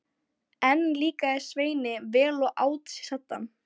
Enn líkaði Sveini vel og át sig saddan.